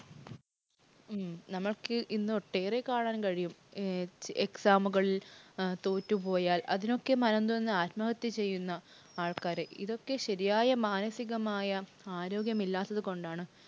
ഉം നമുക്ക് ഇന്ന് ഒട്ടേറെ കാണാൻ കഴിയും exam ഉകള്‍ തോറ്റുപോയാൽ അതിനൊക്കെ മനംനൊന്ത് ആത്മഹത്യ ചെയ്യുന്ന ആൾക്കാരെ. ഇതൊക്കെ ശരിയായ മാനസികമായ ആരോഗ്യമില്ലാത്തതു കൊണ്ടാണ്.